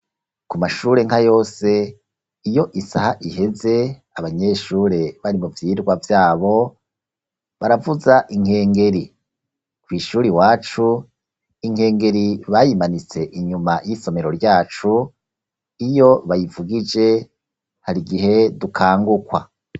Ku mashure nka yose, iyo isaha iheze, abanyeshure bari mu vyigwa vyabo, baravuza inkengeri; kw’ishure iwacu, inkengeri bayimanitse inyuma y'isomero ryacu, iyo bayivugije hari igihe dukangukwa.